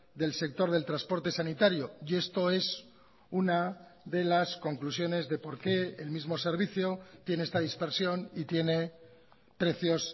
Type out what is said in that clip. del sector del transporte sanitario y esto es una de las conclusiones de por qué el mismo servicio tiene esta dispersión y tiene precios